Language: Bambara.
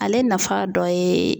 Ale nafa dɔ ye